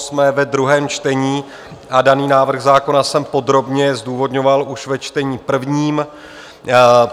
Jsme ve druhém čtení a daný návrh zákona jsem podrobně zdůvodňoval už ve čtení prvním.